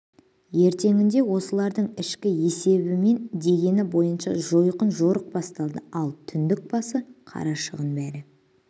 ертеңінде осылардың ішкі есебі мен дегені бойынша жойқын жорық басталды ал түндік басы қарашығын бәрі